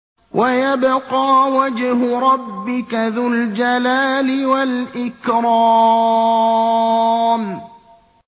وَيَبْقَىٰ وَجْهُ رَبِّكَ ذُو الْجَلَالِ وَالْإِكْرَامِ